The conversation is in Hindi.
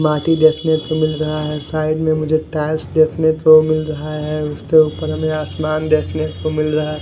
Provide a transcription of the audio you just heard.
माटी देखने को मिल रहा है साइड में मुझे टाइल्स देखने को मिल रहा है उसके उपर हमे आसमान देखने को मिल रहा--